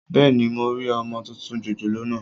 Bẹ́ẹ̀ni, mo rí ọmọ tuntun jòjòló naa